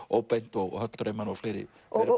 óbeint og höll draumanna og fleiri